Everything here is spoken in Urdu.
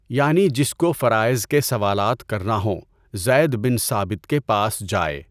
یعنی جس کو فرائض کے سوالات کرنا ہوں، زید بن ثابت کے پاس جائے۔